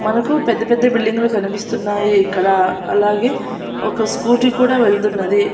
మనకు పెద్ద పెద్ద బిల్డింగులు కనిపిస్తున్నాయి ఇక్కడ అలాగే ఒక స్కూటీ కూడా వెళ్తున్నది.